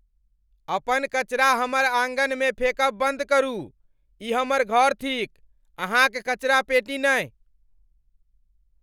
अपन कचरा हमर आँगनमे फेकब बन्द करू। ई हमर घर थीक , अहाँक कचरापेटी नहि!